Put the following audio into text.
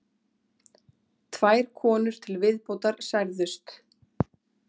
Tvær konur til viðbótar særðust